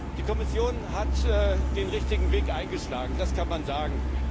Die Kommission hat den richtigen Weg eingeschlagen, das kann man sagen.